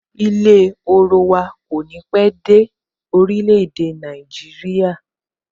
Ilé orowa kò ní pé dé orile-ede Naijiria